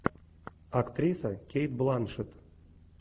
актриса кейт бланшет